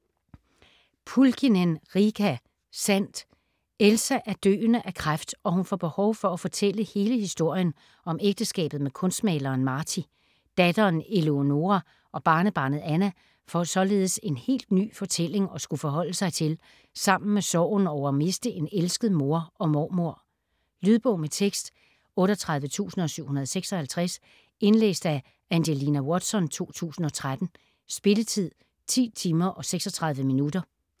Pulkkinen, Riikka: Sandt Elsa er døende af kræft, og hun får behov for at fortælle hele historien om ægteskabet med kunstmaleren Martti. Datteren Eleonoora og barnebarnet Anna får således en helt ny fortælling at skulle forholde sig til sammen med sorgen over at miste en elsket mor og mormor. Lydbog med tekst 38756 Indlæst af Angelina Watson, 2013. Spilletid: 10 timer, 36 minutter.